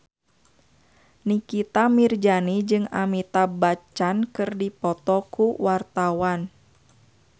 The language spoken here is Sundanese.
Nikita Mirzani jeung Amitabh Bachchan keur dipoto ku wartawan